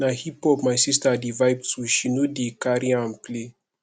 na hiphop my sista dey vibe to she no dey carry am play